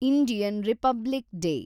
Indian republic day